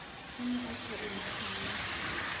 o ne a sa enahane